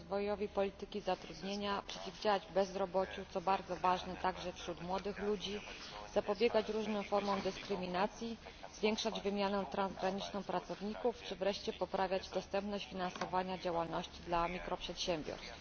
rozwojowi polityki zatrudnienia, przeciwdziałać bezrobociu, co jest bardzo ważne także wśród młodych ludzi, zapobiegać różnym formom dyskryminacji, zwiększać wymianę transgraniczną pracowników czy wreszcie poprawiać dostępność finansowania działalności dla mikroprzedsiębiorstw.